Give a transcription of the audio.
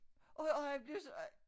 Og og han blev så